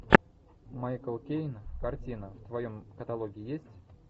майкл кейн картина в твоем каталоге есть